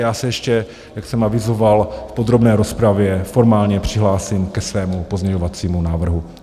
Já se ještě, jak jsem avizoval v podrobné rozpravě, formálně přihlásím ke svému pozměňovacímu návrhu.